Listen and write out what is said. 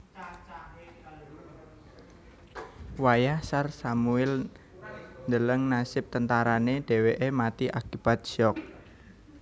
Wayah Tsar Samuil ndeleng nasib tentarané dhèwèké mati akibat syok